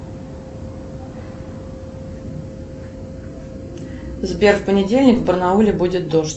сбер в понедельник в барнауле будет дождь